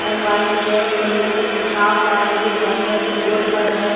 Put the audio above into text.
MYTS बोलकर कुछ लिखा हुआ हैजो ब्लैक कलर के बोर्ड पर है।